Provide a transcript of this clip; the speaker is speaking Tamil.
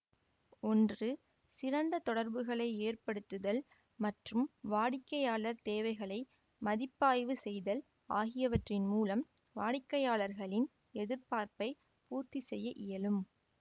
ஒன்று சிறந்த தொடர்புகளை ஏற்படுத்துதல் மற்றும் வாடிக்கையாளர் தேவைகளை மதிப்பாய்வு செய்தல் ஆகியவற்றின் மூலம் வாடிக்கையாளரின் எதிர்பார்ப்பை பூர்த்தி செய்ய இயலும்